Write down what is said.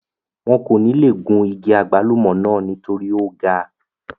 wọn kò níle gun igi àgbálùmọ̀ náà nítorí ó ga